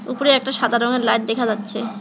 উপরে একটা সাদা রঙের লাইট দেখা যাচ্ছে।